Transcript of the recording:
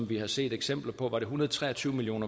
vi har set eksempler på var det en hundrede og tre og tyve million